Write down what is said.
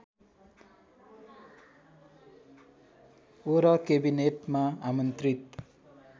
वर केबिनेटमा आमन्त्रित